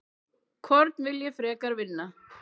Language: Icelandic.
Hvorn vil ég frekar vinna?